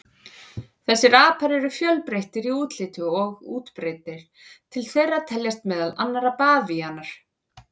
Þessir apar eru fjölbreyttir í útliti og útbreiddir, til þeirra teljast meðal annarra bavíanar.